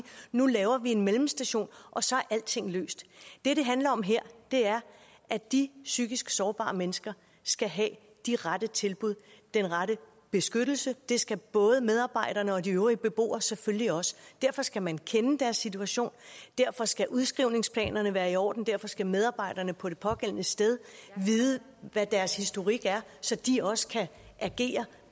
nu laver vi en mellemstation og så er alting løst det det handler om her er at de psykisk sårbare mennesker skal have de rette tilbud den rette beskyttelse det skal både medarbejderne og de øvrige beboere selvfølgelig også derfor skal man kende deres situation og derfor skal udskrivningsplanerne være i orden og derfor skal medarbejderne på det pågældende sted vide hvad deres historik er så de også kan agere